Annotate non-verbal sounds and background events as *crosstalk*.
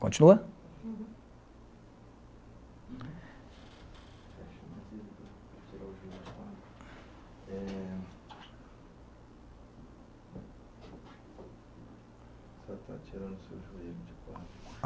Continua? É *unintelligible*